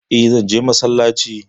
E, zan je masallaci.